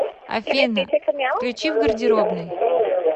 афина включи в гардеробной